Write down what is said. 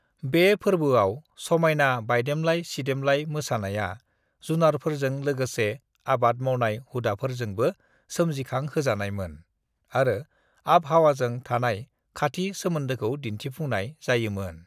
"बे फोरबोआव समायना बायदेमलाय-सिदेमलाय मोसानाया, जुनारफोरजों लोगोसे आबाद मावनाय हुदाफोरजोंबो सोमजिखांहोजानायमोन आरो आबहावाजों थानाय खाथि सोमोन्दोखौ दिन्थिफुंनाय जायोमोन।"